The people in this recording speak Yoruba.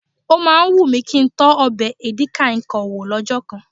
Ó máa ń wù mi kí ń tọ ọbẹ̀ edi kai Kong wò lọ́jọ́ kan